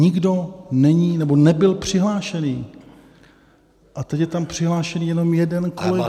Nikdo není nebo nebyl přihlášený, a teď je tam přihlášený jenom jeden kolega.